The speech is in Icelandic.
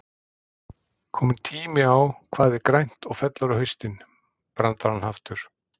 Kominn tími á Hvað er grænt og fellur á haustin? brandarann aftur.